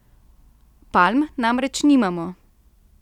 Palm namreč nimamo.